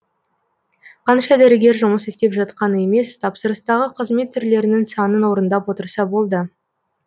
қанша дәрігер жұмыс істеп жатқаны емес тапсырыстағы қызмет түрлерінің санын орындап отырса болды